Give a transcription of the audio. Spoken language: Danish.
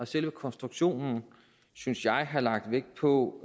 selve konstruktionen synes jeg have lagt vægt på